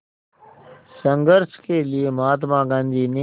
संघर्ष के लिए महात्मा गांधी ने